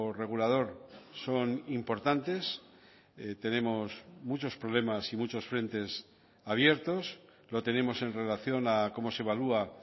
regulador son importantes tenemos muchos problemas y muchos frentes abiertos lo tenemos en relación a cómo se evalúa